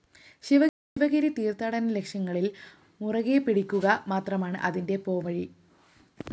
ശിവഗിരി തീര്‍ത്ഥാടന ലക്ഷ്യങ്ങളില്‍ മുറുകെപ്പിടിക്കുക മാത്രമാണ് അതിന് പോംവഴി